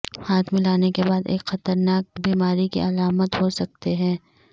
ہاتھ ملانے کے بعد ایک خطرناک بیماری کی علامت ہو سکتے ہیں